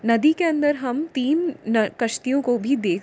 नदी के अंदर हम तीन न -- कश्तियों को भी देख --